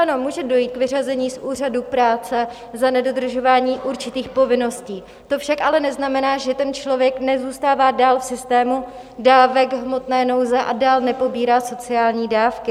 Ano, může dojít k vyřazení z úřadu práce za nedodržování určitých povinností, to však ale neznamená, že ten člověk nezůstává dál v systému dávek hmotné nouze a dál nepobírá sociální dávky.